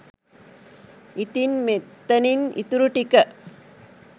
ඉතින් මෙතනින් ඉතුරුටික